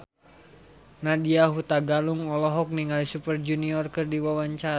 Nadya Hutagalung olohok ningali Super Junior keur diwawancara